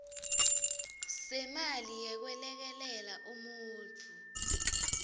semali yekwelekelela umuntfu